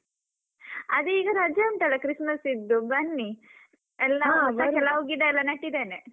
ಅದೇ ಈಗ ರಜೆ ಉಂಟಲ್ಲ christmas ಸಿದ್ದು ಬನ್ನಿ ಕೆಲವು ಗಿಡ ಎಲ್ಲ ನೆಟ್ಟಿದ್ದೇನೆ.